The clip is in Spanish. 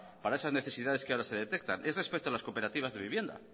para esas necesidades que ahora se detectan es respecto a las cooperativas de vivienda